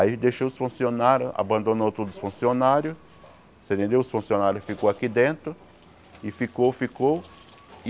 Aí deixou os funcionários, abandonou todos os funcionários você entendeu, os funcionários ficaram aqui dentro e ficou, ficou.